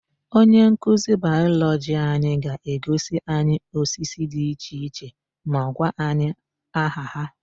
Onyenkuzi Bayọlọgị anyị ga-egosi anyị osisi dị iche iche ma gwakwa anyị aha ha.